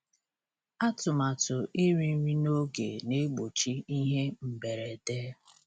Atụmatụ iri nri n'oge na-egbochi ihe mberede.